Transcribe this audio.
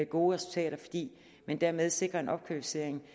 gode resultater fordi man dermed sikrer en opkvalificering